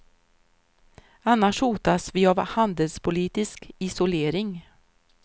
Annars hotas vi av handelspolitisk isolering.